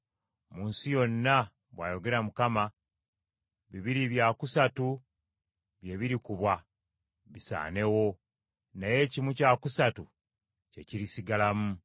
Mu nsi yonna,” bw’ayogera Mukama , “bibiri bya kusatu bye birikubwa bisaanewo, naye kimu kya kusatu kye kirisigalamu.